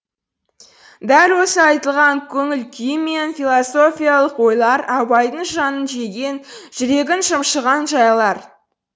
дәл осы айтылған көңіл күйі мен философиялық ойлар абайдың жанын жеген жүрегін шымшыған жайлар